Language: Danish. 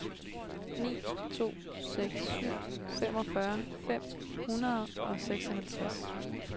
ni to seks syv femogfyrre fem hundrede og seksoghalvtreds